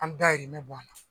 An dahirimɛ bɔ a la.